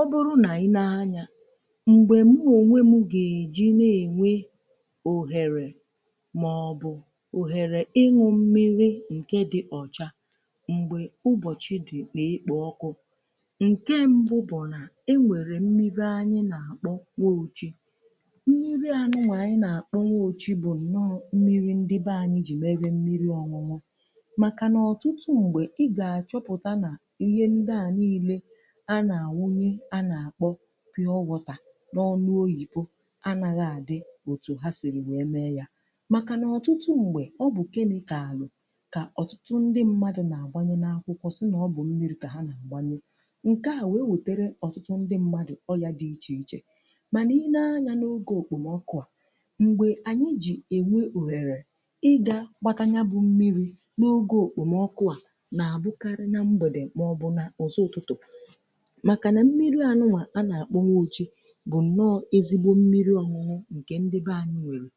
ọ bụrụ nà i nee anya m̀gbè mụ̀ onwe m gà-èji na-ènwe ohèrè màọbụ̀ ohèrè ịṅụ mmiri ǹke dị̀ ọ̀cha m̀gbè ụbọ̀chị dị̀ n’ekpo ọkụ̇. Nke mbụ bụ̀ nà e nwèrè mmiri anyị nà-àkpọ "nwe ochu" mmiri anụ nwà anyị nà-àkpọ "nwe ochu" bụ̀ nà mmiri ndị bụ anyị jì merè mmiri ọṅụṅụ̀ màkà nà ọtụtụ m̀gbè ị gà-àchọpụ̀ta nà ihe ndị à nile a na-anu a na-akpọ "pure water" ọtà n’ọnụ̀ oyipù anaghà dị̀ otù ha siri wee mee yà màkà n’ọtụtụ ṁgbè ọ bụ̀ kemikalụ̀ ka ọtụtụ ndị mmadụ̀ na-agbanyè n’akwụkwọ̀ sị na ọ bụ̀ mmiri ka ha na-agbanyè, nke à wee wetere ọtụtụ ndị mmadụ̀ ọyà dị iche ichè manà i nee anya n’oge okpomọkụà, ṁgbe anyị̀ jì enwe ohere ị gà kpatanya bụ̀ mmiri n’oge okpomọkụà na-abụkarị̀ na mbedè maọ̀bụ̀ nà ụzọ ụtụtụ̀. Maka na mmiri anụnwà a na-akpọ "nwe ochu" bụ nnọọ̀ ezigbo mmiri ọṅụṅụ nke ndị be anyị nwere.